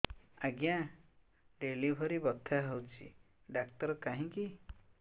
ଆଜ୍ଞା ଡେଲିଭରି ବଥା ହଉଚି ଡାକ୍ତର କାହିଁ କି